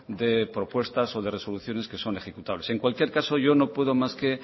de propuestas o de resoluciones que son ejecutables en cualquier caso yo no puedo más que